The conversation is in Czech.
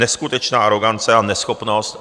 Neskutečná arogance a neschopnost.